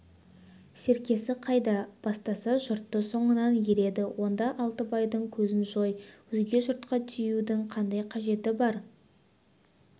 серкесі қайда бастаса жұрты соңынан ереді онда алтыбайдың көзін жой өзге жұртқа тиюдің қандай қажеті бар